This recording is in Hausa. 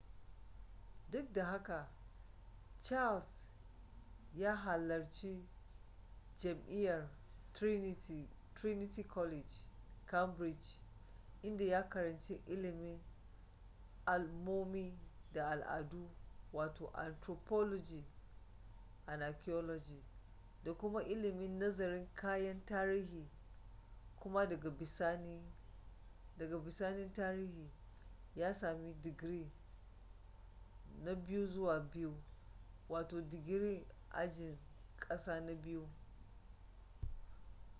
duk da haka charles ya halarci jami'ar trinity college cambridge inda ya karanci ilimin al’ummomi da al’adu wato anthropology and archaeology da kuma ilimin nazarin kayan tarihi kuma daga bisani tarihi ya sami digiri na 2:2 digiri ajin ƙasa na biyu